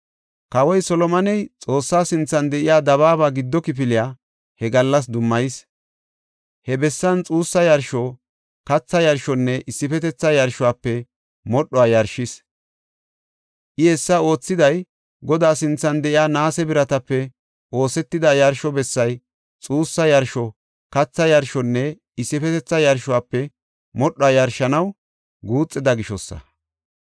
Kawoy Solomoney Xoossa keetha sinthan de7iya dabaaba giddo kifiliya he gallas dummayis. He bessan xuussa yarsho, katha yarshonne issifetetha yarshuwafe modhuwa yarshis. I hessa oothiday Godaa sinthan de7iya naase biratape oosetida yarsho bessay xuussa yarsho, katha yarshonne issifetetha yarshuwafe modhuwa yarshanaw guuxida gishosa.